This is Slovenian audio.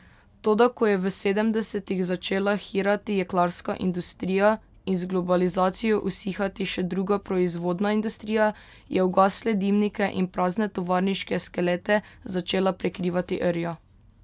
Toda ko je v sedemdesetih začela hirati jeklarska industrija in z globalizacijo usihati še druga proizvodna industrija, je ugasle dimnike in prazne tovarniške skelete začela prekrivati rja.